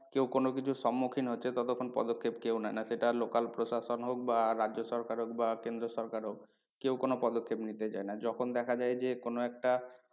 কেউ কোনো কিছুর সম্মুখীন হচ্ছে ততক্ষন পদক্ষেপ কেউ নেয় না এবং সেটা local প্রশাসন হোক বা রাজ্য সরকার হোক বা কেন্দ্র সরকার হোক কেউ কোনো পদক্ষেপ নিতে চায় না যখন দেখা যায় যে কোনো একটা